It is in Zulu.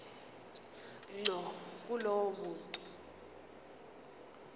ngqo kulowo muntu